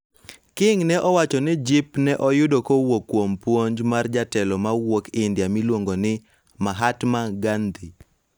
King ne owacho ni jip ne oyudo kowuok kuom puonj mar jatelo ma wuok India miluongo ni Mahatma Gandhi